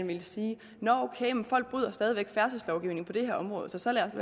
ville sige nå ok folk bryder stadig væk færdselslovgivningen på det her område så lad os